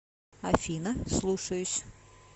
афина слушаюсь